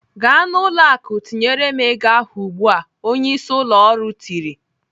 "Gaa n'ụlọ akụ tinyere m ego ahụ ugbu a!" Onyeisi ụlọ ọrụ tiri.